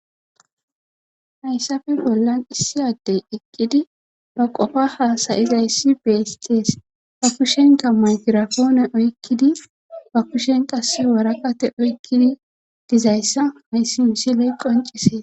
hayssafe bollan issi addey eqqidi ba qofa haasa'izayssi beesees ba kushenka maykirafoone oykkidi ba kushen qasse worakate oykkidi dizayssa hayssi misiley qoncisees